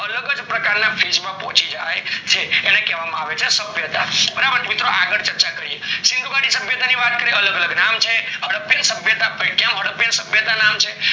અલગજ પ્રકારના phase માં પોચી જાય છે એને કેવા માં આવે છે સભ્યતા બરાબર મિત્રો આગળ ચર્ચા કરીએ સિંધુ ગાડી સભ્યાતી ની વાત કરીએ અલગ અલગ નામ છે હદ્પિયા સભ્યતા કેમ હદ્દાપીય સભ્યતા છે